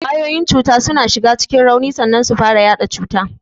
Kwayoyin cuta suna shiga cikin rauni sannan su fara yaɗa cuta.